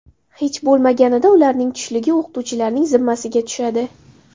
Hech bo‘lmaganida ularning tushligi o‘qituvchilarning zimmasiga tushadi.